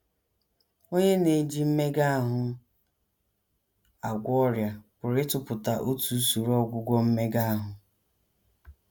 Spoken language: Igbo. Onye na - eji mmega ahụ agwọ ọrịa pụrụ ịtụpụta otu usoro ọgwụgwọ mmega ahụ.